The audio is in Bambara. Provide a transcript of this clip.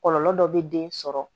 Kɔlɔlɔ dɔ bɛ den sɔrɔ